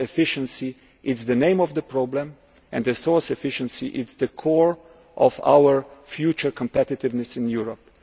day to day. Resource efficiency is the name of the problem and resource efficiency is at the core of our future competitiveness